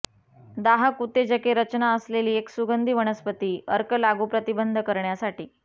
दाहक उत्तेजके रचना असलेली एक सुगंधी वनस्पती अर्क लागू प्रतिबंध करण्यासाठी